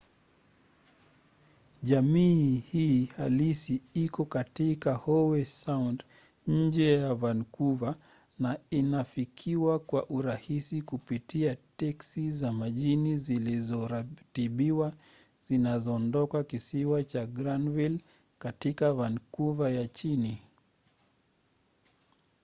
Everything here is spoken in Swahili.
jamii hii halisi iko katika howe sound nje ya vancouver na inafikiwa kwa urahisi kupitia teksi za majini zilizoratibiwa zinazoondoka kisiwa cha granville katika vancouver ya chini